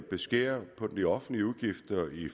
beskære de offentlige udgifter i